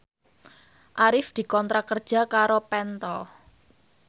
Arif dikontrak kerja karo Pentel